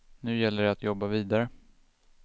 Nu gäller det att jobba vidare.